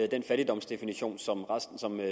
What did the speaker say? den fattigdomsdefinition som